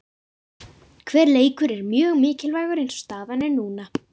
Hver leikur er mjög mikilvægur eins og staðan er núna.